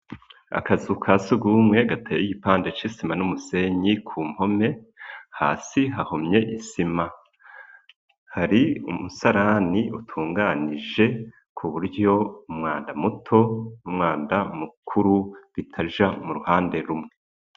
Akazu ka sugumwe gateye igipande c'isima n'umusenyi ku mpome, hasi hahomye isima ,hari umusarani utunganije ku buryo umwanda muto n'umwanda mukuru bitaja mu ruhande rumwe.